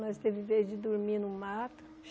Nós tivemos vezes de dormir no mato.